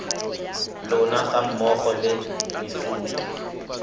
lona ga mmogo le mefuta